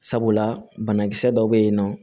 Sabula banakisɛ dɔw bɛ yen nɔ